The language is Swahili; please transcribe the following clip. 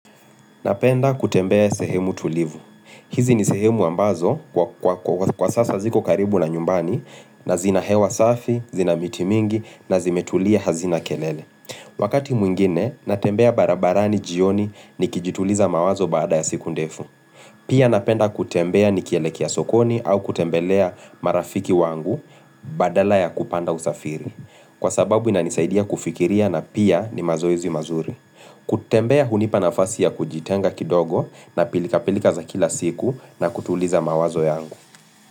Napenda kutembea sehemu tulivu. Hizi ni sehemu ambazo kwa sasa ziko karibu na nyumbani na zina hewa safi, zina miti mingi na zimetulia hazina kelele. Wakati mwingine, natembea barabarani jioni ni kijituliza mawazo baada ya siku ndefu. Pia napenda kutembea nikielekia sokoni au kutembelea marafiki wangu badala ya kupanda usafiri. Kwa sababu inanisaidia kufikiria na pia ni mazoezi mazuri. Kutembea hunipanafasi ya kujitenga kidogo na pilika pilika za kila siku na kutuliza mawazo yangu.